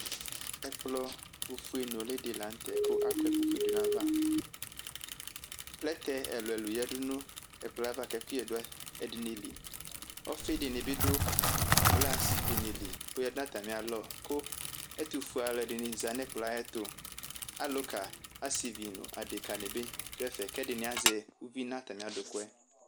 Ɛkplɔ ofue nʋli di lanu tɛ , kʋ akɔ ɛkʋfue di dunu ayiʋ avaplɛtɛ ɛlu ɛlu yadʋ nʋ ayava kʋ ɛkʋyɛ dʋ ɛdiniliɔfi dini bi dʋ glas dini li , kʋ oyadʋ nʋ atami'alɔkʋ ɛtufue'alʋ ɛdini zanʋ ɛkplɔ yɛ ayiʋ ɛtualuka, asivi nu adeka nibi dʋ ɛfɛ kʋ ɛdini azɛ uvi nʋ atami adʋkʋ yɛ